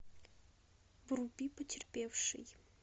вруби потерпевший